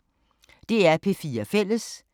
DR P4 Fælles